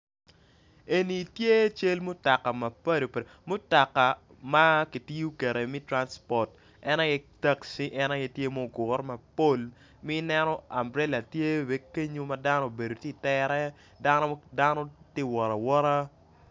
En tye cal mutoka mapatpat mutoka taxi mutoka tye mapol ma tye ka wotawota